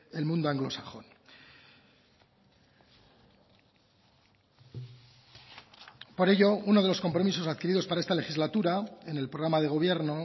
el mundo anglosajón por ello uno de los compromisos adquiridos para esta legislatura en el programa de gobierno